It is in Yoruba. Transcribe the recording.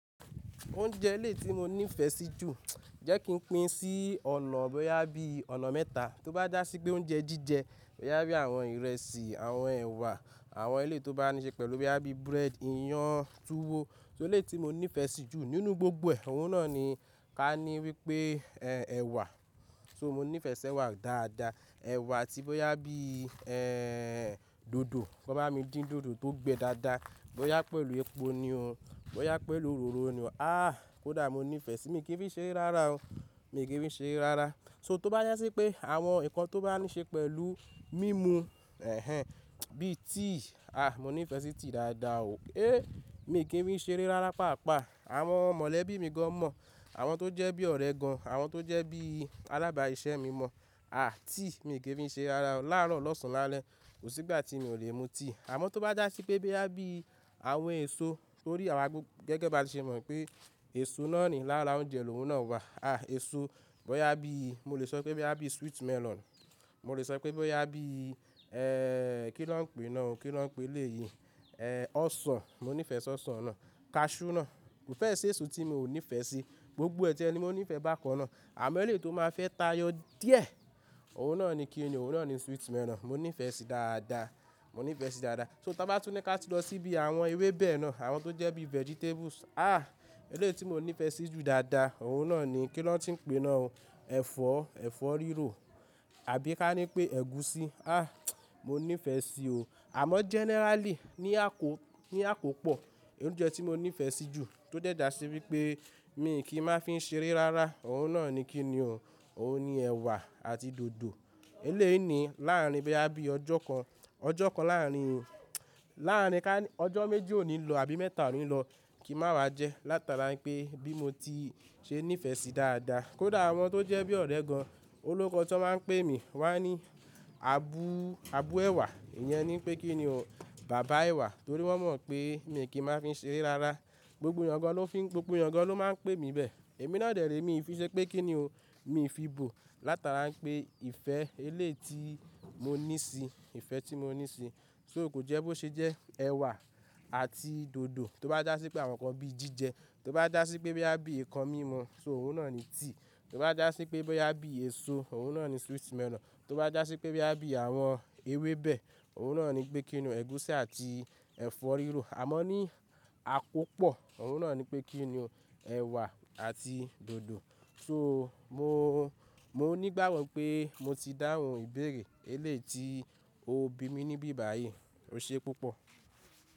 Oúnjẹ eléyi tí mo ní ìfẹ́ sí jù, jẹ́ kí n pín sí ọ̀nà bóyá bí ọ̀nà mẹ́ta. Tó bá já sí pé oúnjẹ jíjẹ, bóyá bí àwọn ìrẹsì, àwọn ẹ̀wà, àwọn eléyi tó bá níí ṣe pẹ̀lú bóyá bí búrẹ́dì, ìyàn, túwó. Só eléyi ti mo ní ìfẹ́ sí jù nínú gbogbo ẹ̀, òun náà ni ká ní wípé ẹ̀, ẹ̀wà. So mo ní ìfẹ́ sí ẹ̀wà dáadáa. Ẹ̀wà atí bóyá bí, ẹ́, dòdò. Ki wọn ba mi dín dòdò ko gbé dáadáa, bóyá pẹ̀lú epo ni o bóyá pẹ̀lú òróró ni o, ah ko da mo no fesi mi ki n fi ṣeré rárá o. Mi kì í fi ṣeré rárá. So tó bá já sí pé àwọn nǹkan tó bá níí ṣe pẹ̀lú mímu, èhèn, bíi tea, ah, mo ní ìfẹ́ sí tea dáadáa o. Eh, mi kì í fi ṣeré rárá pàápàá. Àwọn mọ̀lẹ́bí mi gan mọ̀, àwọn tó jẹ́ bí ọ̀rẹ́ gan, àwọn tó jẹ́ bí alábàá siṣẹ́ mi mọ̀, ah, tea mi kì í fi ṣeré rárá o. Láaro lọ́sàn-án lálẹ́, kò sí ìgbà tí mi ò lè mu tea. Àmọ́ tó bá dá sí pé bóyá bí àwọn èso torí àwa gbogbo gẹ́gẹ́ bí a ṣe mọ̀ pé èso náà ni lára oúnjẹ lòun náà wà. Ah, èso, bóyá bí, mo lè sọ pé bóyá bí sweet melon. Mo lè sọ pé bóyá bí, ẹ́, kí ló ń pè náà o? Kí ló ń pè eléyìí? Ẹ̀, ọsàn. Mo ní ìfẹ́ sí ọsàn náà. Cashew náà. Kò fẹ́ẹ̀ sí èso tí mo ò ní ìfẹ́ sí. Gbogbo ẹ̀ ti ẹni mo ní ìfẹ́ bákan náà. Àmọ́ eléyi tó máa fẹ́ tá yóò díẹ̀, òun náà ni kí ni o, òun náà ni sweet melon. Mo ní ìfẹ́ sí i dáadáa. Mo ní ìfẹ́ sí i dáadáa. So ta bá tún ní ká tu lọ sí bí àwọn ewébẹ̀ náà, àwọn tó jẹ́ bí vegetables. Ah, eléyii tí mo ní ìfẹ́ sí jù dáadáa, òun náà ni kí ló ń ti ń pè náà o? Ẹ̀fọ́, ẹ̀fọ́ rírò àbí ká ní pé ẹ̀gúsí. Ah, mo ní ìfẹ́ sí o. Àmọ́ generally ní àkó, ní àkópọ̀, oúnjẹ tí mo ní ìfẹ́ sí jù tó jẹ́ dá sí wípé mi kì í má fi ṣeré rárá, òun náà ni kí ni o, òun ni ẹ̀wà àti dòdò. Eléyii ni, láàárín bóyá bí ọjọ́ kan, ọjọ́ kan láàárín, láàárín ká ní ọjọ́ méjì òní lọ àbí mẹ́ta òní lọ kì í máa jẹ látara pé bí mo ti ṣe ní ìfẹ́ sí i dáadáa. Kódà àwọn tó jẹ́ bí ọ̀rẹ́ gan-an, olókoọ̀ ti wọn máa ń pè mi wá ní "Abu, Abu ẹ̀wà", ìyẹn ni pé kí ni o, "bàbá ẹ̀wà" torí wọ́n mọ̀ pé mi kì í máa fi ṣeré rárá. Gbogbo ẹ̀yàn gan lo fi n, gbogbo ẹ̀yàn gan lo máa ń pe mi bẹ́ẹ̀. Èmi náà dẹ̀ rẹ̀ mi ì fi ṣé pé kí ni o, mi ì fi bò látara pé ìfẹ́ eléyi ti mo ní sí i, ìfẹ́ tí mo ní sí i. So kò jẹ́ bó ṣe jẹ́ ẹ̀wà àti dòdò. Tó bá já sí pé àwọn nǹkan bí jíjẹ, tó bá já sí pé bóyá bí ǹkan mímu, so òun náà ni tíì. Tó bá dá sí pé bóyá bí èso, òun náà ni sweet melon. Tó bá já sí pé bóyá bí àwọn ewébẹ̀, òun náà ni pé kí ni o, ẹ̀gúsí àti ẹ̀fọ́ rírò. Àmọ́ ní àkópọ̀, òun náà ni pé kí ni o, ẹ̀wà àti dòdò. So mo, mo nígbagbo pé mo ti dáhùn ìbéèrè eléyi ti o bí mi níbí báyìí. Ó ṣe púpọ̀.